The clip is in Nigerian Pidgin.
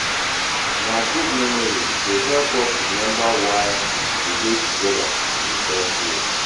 Na good memories dey help us remember why we dey together in the first place.